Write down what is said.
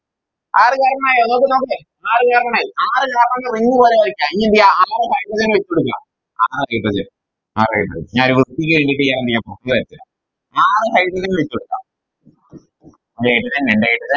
ആറ് Carbon ആയോ നോക്ക് നോക്ക് ന്നെ ആറ് Carbon ആയി ആറ് Carbon നെ ring പോലെ വരയ്ക്ക ഇനിയെന്തെയ്യ ആറ് Hydrogen നെ ഇട്ടോടിക്കാ ആ okay okay ആറ് Hydrogen ആറ് Hydrogen ഇനി എന്ത്ചെയ്യാൻ അപ്പൊ അല്ലെ ആറ് Hydrogen ഇട്ടോടിക്കാ ഒര് Hydrogen രണ്ട് hydrogen